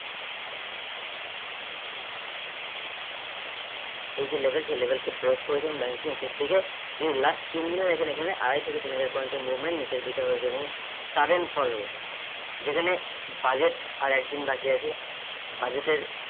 এই যে level সেই level কে break করেছেন নিচের দিকে যে last তিনদিনের এখেন এখানে আড়াই থেকে তিন হাজার point এর movement নিচের দিকে হয়েছে এবং sudden fall হয়েছে যেখানে budget আর একদিন বাকি আছে budget এর